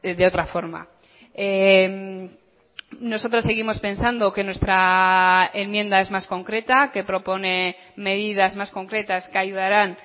de otra forma nosotros seguimos pensando que nuestra enmienda es más concreta que propone medidas más concretas que ayudarán